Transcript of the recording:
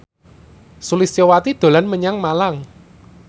Sulistyowati dolan menyang Malang